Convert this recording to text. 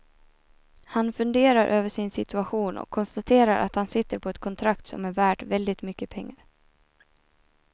Han funderar över sin situation och konstaterar att han sitter på ett kontrakt som är värt väldigt mycket pengar.